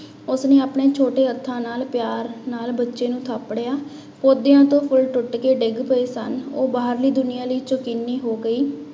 ਉਸਨੇ ਆਪਣੇ ਛੋਟੇ ਹੱਥਾਂ ਨਾਲ ਪਿਆਰ ਨਾਲ ਬੱਚੇ ਨੂੰ ਥਾਪੜਿਆ, ਪੋਦਿਆਂ ਤੋਂ ਫੁੱਲ ਟੁੱਟ ਕੇ ਡਿੱਗ ਪਏ ਸਨ, ਉਹ ਬਾਹਰਲੀ ਦੁਨੀਆਂ ਲਈ ਚੋਕੱਨੀ ਹੋ ਗਈ।